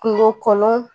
Kungo kɔnɔ